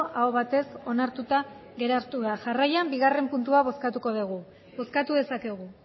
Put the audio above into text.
aho batez onartuta geratu da jarraian bigarren puntua bozkatuko dugu bozkatu dezakegu